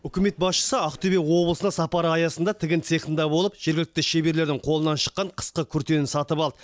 үкімет басшысы ақтөбе облысына сапары аясында тігін цехінда болып жергілікті шеберлердің қолынан шыққан қысқы күртені сатып алды